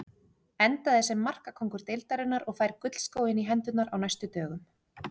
Endaði sem markakóngur deildarinnar og fær gullskóinn í hendurnar á næstu dögum.